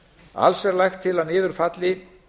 alls er lagt til að niður falli